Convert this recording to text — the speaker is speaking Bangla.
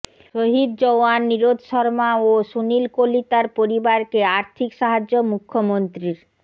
শহিদ জওয়ান নিরোদ শর্মা ও সুনীল কলিতার পরিবারকে আর্থিক সাহায্য মুখ্যমন্ত্ৰীর